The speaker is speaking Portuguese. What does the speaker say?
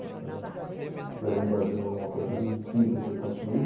Né. Empresa no Brasil não é uma coisa simples de ser construída.